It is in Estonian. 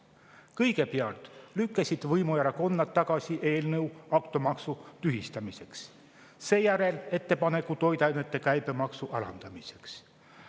Kõigepealt lükkasid võimuerakonnad tagasi eelnõu automaksu tühistamiseks, seejärel ettepaneku toiduainete käibemaksu alandamiseks.